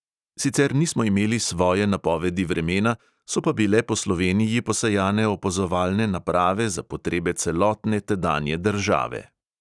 Sicer nismo imeli svoje napovedi vremena, so pa bile po sloveniji posejane opazovalne naprave za potrebe celotne tedanje države.